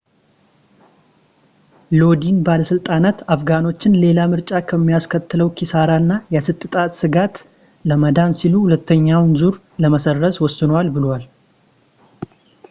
ሎዲን ባለሥልጣናት አፍጋኖችን ሌላ ምርጫ ከሚያስከትለው ኪሳራ እና የፀጥታ ስጋት ለማዳን ሲሉ ሁለተኛውን ዙር ለመሰረዝ ወስነዋል ብለዋል